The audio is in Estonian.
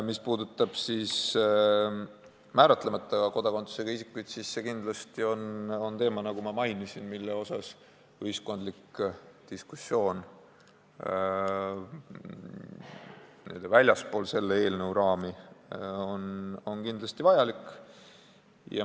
Mis puudutab määratlemata kodakondsusega isikuid, siis see on teema, nagu ma mainisin, mille puhul ühiskondlik diskussioon n-ö väljaspool selle eelnõu raami on kindlasti vajalik.